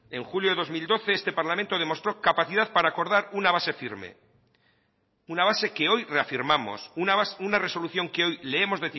en julio de dos mil doce este parlamento demostró capacidad para acordar una base firme una base que hoy reafirmamos una resolución que hoy leemos